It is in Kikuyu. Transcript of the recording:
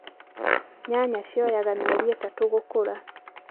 nyanya cioyaga mĩeri ĩtatũ gũkũra .